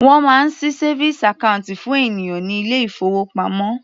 Wọ́n máa ṣí savings account fún ènìyàn ní ilé ìfowópamọ́.